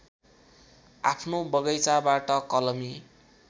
आफ्नो बगैँचाबाट कलमी